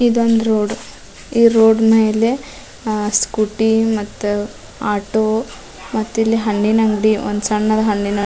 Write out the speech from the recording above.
ಇದೊಂದು ರೋಡ್ ಈ ರೋಡ್ ಮೇಲೆ ಅ ಸ್ಕೂಟಿ ಮತ್ತ ಆಟೊ ಮತ್ತಿಲ್ಲಿ ಹಣ್ಣಿನ್ ಅಂಗಡಿ ಒಂದ್ ಸಣ್ಣ್ ಹಣ್ಣಿನ್ ಅಂಗಡಿ.